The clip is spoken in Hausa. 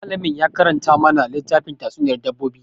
Malamin ya karanta mana littafin tatsuniyar dabbobi.